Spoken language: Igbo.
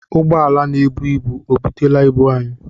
Ụgbọala na-ebu ibu ọ butela ibu anyị?